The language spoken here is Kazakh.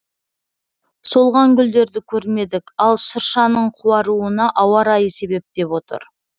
солған гүлдерді көрмедік ал шыршаның қуаруына ауа райы себеп деп отыр